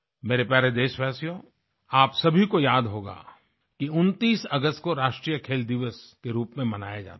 मेरे प्यारे देशवासियो आप सभी को याद होगा कि 29 अगस्त को राष्ट्र खेल दिवस के रूप में मनाया जाता है